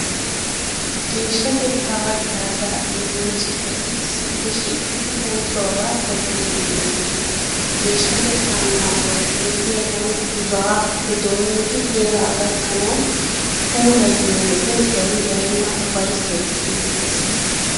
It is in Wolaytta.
Geeshshatettaa haggaazaa immiya citati issippe shiiqidi oosuwaabaa tobbiiddi de'oosona. Geeshshatettaa naaguwaa xeelliyaagan buzuwaappe doommidi heeraa gakkanawu puuayiyo wode zawi baynna ufayssay siyettees.